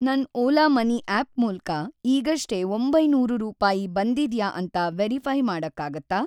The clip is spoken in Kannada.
ನನ್‌ ಓಲಾ ಮನಿ ಆಪ್‌ ಮೂಲ್ಕ ಈಗಷ್ಟೇ ೯೦೦ ರೂಪಾಯಿ ಬಂದಿದ್ಯಾ ಅಂತ ವೆರಿಫೈ಼ ಮಾಡಕ್ಕಾಗತ್ತಾ?